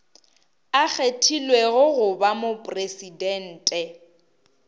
a kgethilwego go ba mopresidente